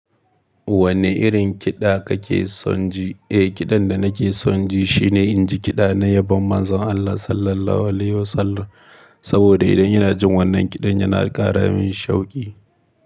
Wanne irin kiɗa kake son ji? Eh, kiɗan da nake son ji shine inji kiɗa na yabon Manzon Allah Sallallahu Alaihi Wasallam. Saboda idan ina jin wannan kiɗan yana ƙara min shauƙi.